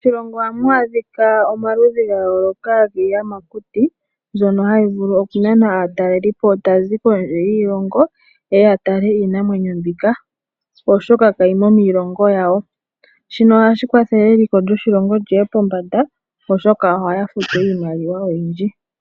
Moshilongo ohamu adhika omaludhi gayooloka giiyamakuti ndyono hayi vulu okunana aatalelipo tayazi kondje yiilongo yeye yatale iinamwenyo oshoka kayi mo miilongo yayo, ohashi kwathele eliko lyoshilongo liye pombanda oshoka ohaya futu iimaliwa oyindji.